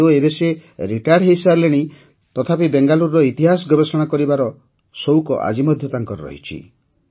ଯଦିଓ ଏବେ ସେ ରିଟାୟାର୍ଡ ହୋଇସାରିଲେଣି ତଥାପି ବେଙ୍ଗାଲୁରୁର ଇତିହାସ ଗବେଷଣା କରିବାର ତାଙ୍କର ସଉକ ଆଜି ମଧ୍ୟ ରହିଛି